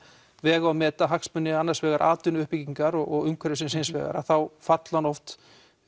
vega og meta hagsmuni annars vegar atvinnuuppbyggingar og umhverfisins hins vegar þá falli hann oft